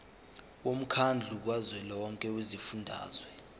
womkhandlu kazwelonke wezifundazwe